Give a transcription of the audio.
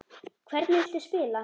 Hvernig viltu spila?